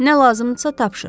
Nə lazımdırsa tapşır.